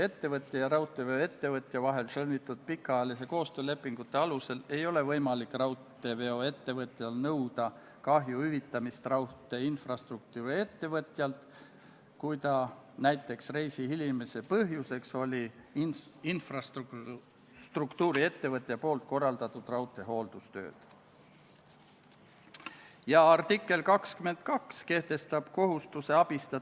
Seitsmes päevakorrapunkt on Vabariigi Valitsuse esitatud Riigikogu otsuse "Kaitseväe kasutamine Eesti riigi rahvusvaheliste kohustuste täitmisel Põhja-Atlandi Lepingu Organisatsiooni või selle liikmesriigi, Euroopa Liidu või Ühinenud Rahvaste Organisatsiooni juhitaval muul rahvusvahelisel sõjalisel operatsioonil sellesse esmakordsel panustamisel" eelnõu 68 teine lugemine.